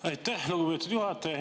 Aitäh, lugupeetud juhataja!